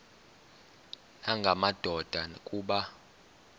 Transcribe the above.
nanga madoda kuba